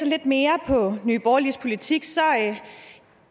lidt mere af nye borgerliges politik